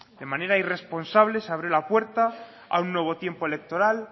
de manera irresponsable se abre la puerta a un nuevo tiempo electoral